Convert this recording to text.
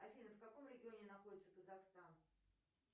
афина в каком регионе находится казахстан